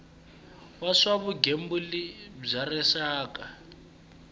wa swa vugembuli bya rixaka